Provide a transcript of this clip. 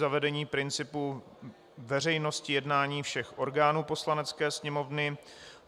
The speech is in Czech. Zavedení principu veřejnosti jednání všech orgánů Poslanecké sněmovny.